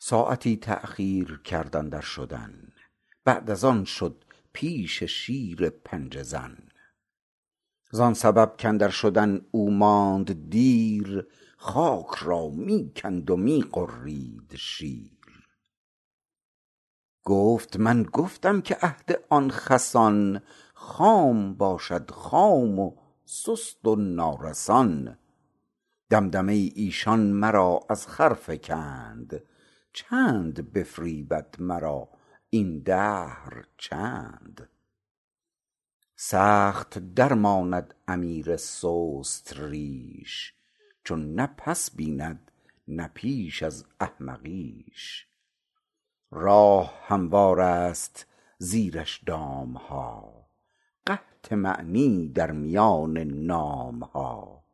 ساعتی تاخیر کرد اندر شدن بعد از آن شد پیش شیر پنجه زن زان سبب کاندر شدن او ماند دیر خاک را می کند و می غرید شیر گفت من گفتم که عهد آن خسان خام باشد خام و سست و نارسان دمدمه ی ایشان مرا از خر فکند چند بفریبد مرا این دهر چند سخت درماند امیر سست ریش چون نه پس بیند نه پیش از احمقیش راه هموارست زیرش دامها قحط معنی در میان نامها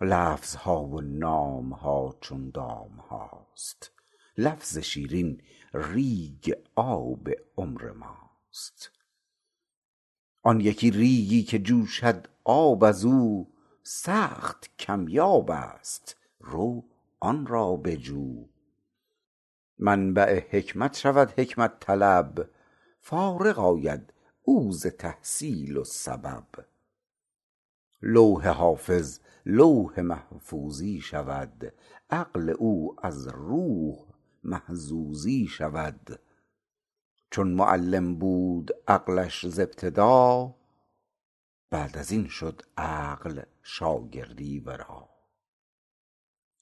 لفظها و نامها چون دامهاست لفظ شیرین ریگ آب عمر ماست آن یکی ریگی که جوشد آب ازو سخت کم یابست رو آن را بجو منبع حکمت شود حکمت طلب فارغ آید او ز تحصیل و سبب لوح حافظ لوح محفوظی شود عقل او از روح محظوظی شود چون معلم بود عقلش ز ابتدا بعد ازین شد عقل شاگردی ورا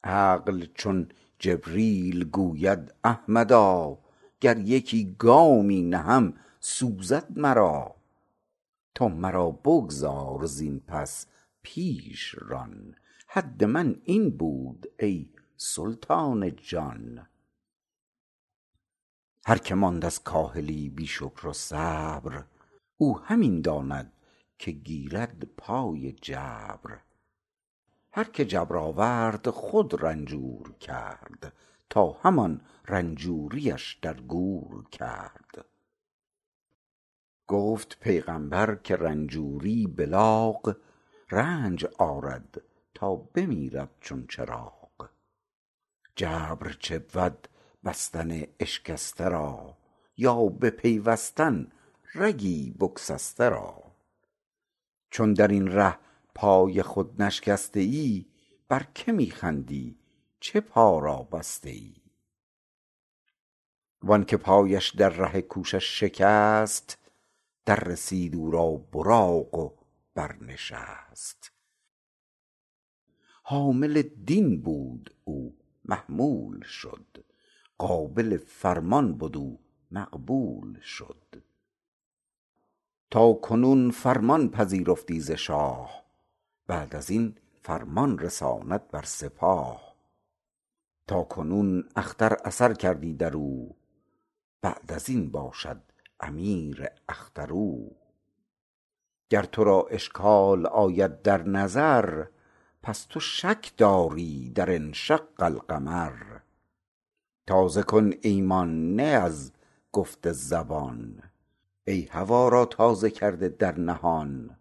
عقل چون جبریل گوید احمدا گر یکی گامی نهم سوزد مرا تو مرا بگذار زین پس پیش ران حد من این بود ای سلطان جان هر که ماند از کاهلی بی شکر و صبر او همی داند که گیرد پای جبر هر که جبر آورد خود رنجور کرد تا همان رنجوریش در گور کرد گفت پیغمبر که رنجوری بلاغ رنج آرد تا بمیرد چون چراغ جبر چه بود بستن اشکسته را یا بپیوستن رگی بگسسته را چون درین ره پای خود نشکسته ای بر که می خندی چه پا را بسته ای وانک پایش در ره کوشش شکست دررسید او را براق و بر نشست حامل دین بود او محمول شد قابل فرمان بد او مقبول شد تاکنون فرمان پذیرفتی ز شاه بعد ازین فرمان رساند بر سپاه تاکنون اختر اثر کردی درو بعد ازین باشد امیر اختر او گر ترا اشکال آید در نظر پس تو شک داری در انشق القمر تازه کن ایمان نی از گفت زبان ای هوا را تازه کرده در نهان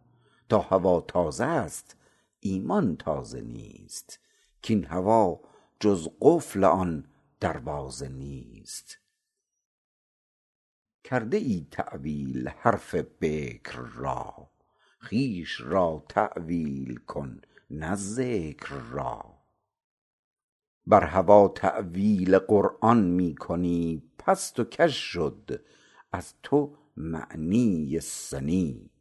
تا هوا تازه ست ایمان تازه نیست کاین هوا جز قفل آن دروازه نیست کرده ای تاویل حرف بکر را خویش را تاویل کن نه ذکر را بر هوا تاویل قرآن می کنی پست و کژ شد از تو معنی سنی